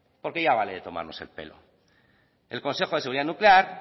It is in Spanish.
porque ya vale de tomarnos el pelo el consejo de seguridad nuclear